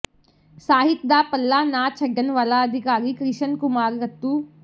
ਸਾਹਿਤ ਦਾ ਪੱਲਾ ਨਾ ਛੱਡਣ ਵਾਲਾ ਅਧਿਕਾਰੀ ਕ੍ਰਿਸ਼ਨ ਕੁਮਾਰ ਰੱਤੂ